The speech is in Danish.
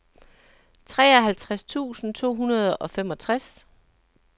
treoghalvtreds tusind to hundrede og femogtres